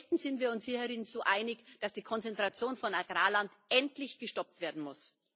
Selten sind wir uns so einig, dass die Konzentration von Agrarland endlich gestoppt werden muss.